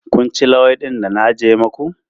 Kun ci luwaiɗin da na ajiyar maku?